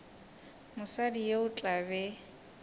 mosadi yo o tla be